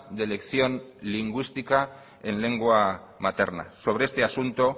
de elección lingüística en lengua materna sobre este asunto